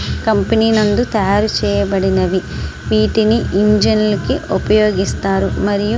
company నుండి తయారు చేయబడినవి వీటిని ఇంజన్ని కి ఉపయోగిస్తారు మరియు --